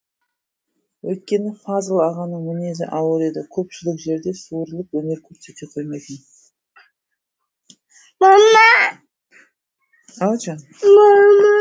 өйткені фазыл ағаның мінезі ауыр еді көпшілік жерде суырылып өнер көрсете қоймайтын